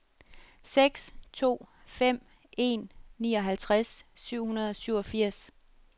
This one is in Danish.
seks to fem en nioghalvtreds syv hundrede og syvogfirs